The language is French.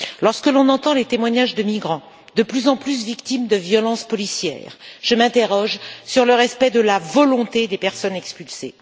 Lorsque l'on entend les témoignages de migrants, de plus en plus victimes de violences policières, je m'interroge sur le respect de la volonté des personnes expulsées.